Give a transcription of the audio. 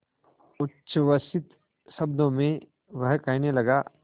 उच्छ्वसित शब्दों में वह कहने लगा